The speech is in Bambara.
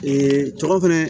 cɔ fɛnɛ